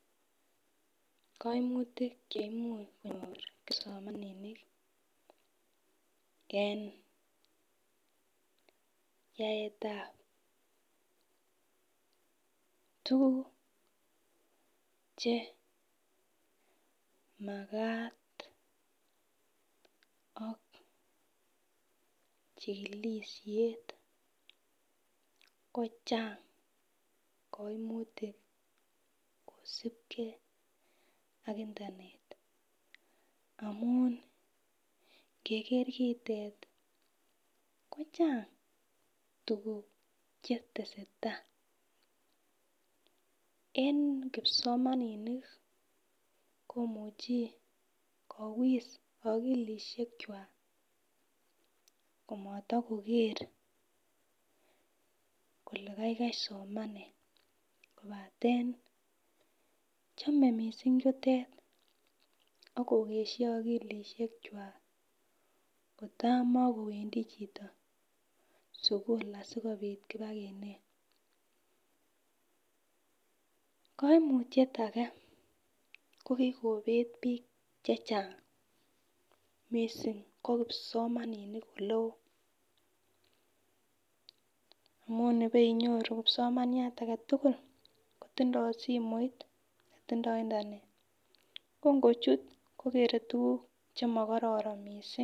Koimutik cheimuch konyor kipsomaninik en yaetab tukuk che makat ok chikilishet ko Chang koimutik kosibgee ak internet amun ngeker kitet kochang tukuk chetesetai , en kipsomaninik komuchi kowis okilishek kwak komoto koger kole kaigai somenet kopaten chome missing chutet akokeshi okilishek kwak kotakomekowendii chito sukulit sikopit ipakinet. Koimutyet age ko kikobet bik chechang missing ko kipsomaninik oleo amun nibeinyoru kipsomaniat agetutuk kotindo simoit tindo internet ko ngochut kokere tukuk chemokororon missing.